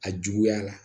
A juguya la